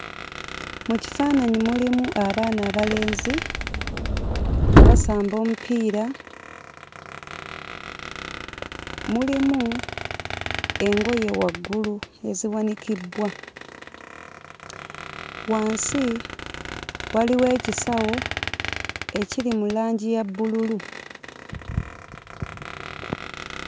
Mu kifaananyi mulimu abaana abalenzi nga basamba omupiira, mulimu engoye waggulu eziwanikibbwa, wansi waliwo ekisawo ekiri mu langi ya bbululu.